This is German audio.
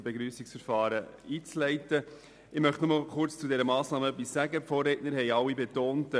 Die Vorredner haben gesagt, dass die Annahme dieser Massnahme keine Auswirkungen auf die Gemeindefusionen haben werde.